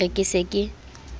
ke re ke se ke